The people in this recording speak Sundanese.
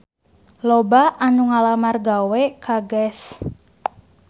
Loba anu ngalamar gawe ka Guess